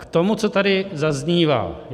K tomu, co tady zaznívá.